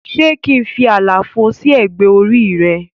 Se kín fí àlàfo sí ẹgbẹ́ orí re?